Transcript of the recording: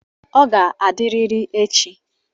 Ọ ga-adịrịrị echi.